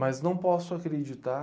Mas não posso acreditar...